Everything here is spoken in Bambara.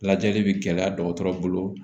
Lajɛli bɛ gɛlɛya dɔgɔtɔrɔ bolo